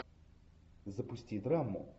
запусти драму